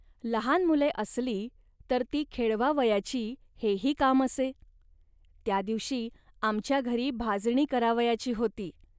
लहान मुले असली, तर ती खेळवावयाची, हेही काम असे. त्या दिवशी आमच्या घरी भाजणी करावयाची होती